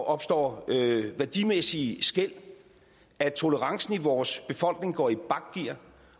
opstår værdimæssige skel at tolerancen i vores befolkning går i bakgear